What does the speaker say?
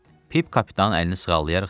Pip kapitanın əlini sığallayaraq dedi.